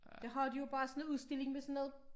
Der har de jo bare sådan en udstilling med sådan noget